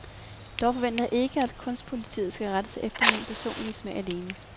Dog forventer jeg ikke, at kunstpolitiet skal rette sig efter min personlige smag alene.